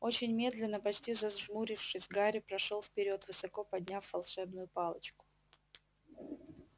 очень медленно почти зажмурившись гарри прошёл вперёд высоко подняв волшебную палочку